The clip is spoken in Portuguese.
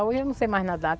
Hoje eu não sei mais nadar.